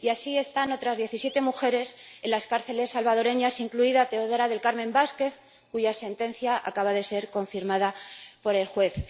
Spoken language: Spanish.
Y así están otras diecisiete mujeres en las cárceles salvadoreñas, incluida Teodora del Carmen Vásquez, cuya sentencia acaba de ser confirmada por el juez.